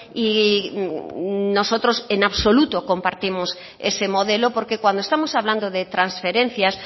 y nosotros en absoluto compartimos ese modelo porque cuando estamos hablando de transferencias